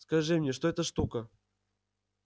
скажи мне что это штука